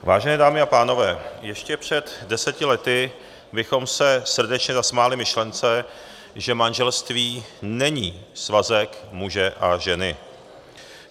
Vážené dámy a pánové, ještě před deseti lety bychom se srdečně zasmáli myšlence, že manželství není svazek muže a ženy.